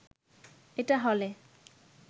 এটা হলে